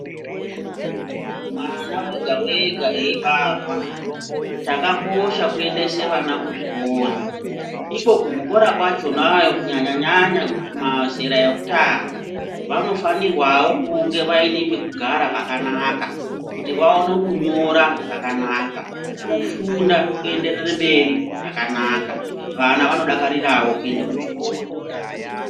Mwana wega wega eibarwa chakakosha kuendese vana kuzvikora. Iko kuzvikora kwachonayo kunyanya nyanya mazera ekutanga, vanofanirwawo kuti vange vaine pekugara pakanaka, kuti vaone kunyora zvakanaka. Kufunda kuenderere mberi zvakanaka, vana vanodakarirao kuende kuchikora.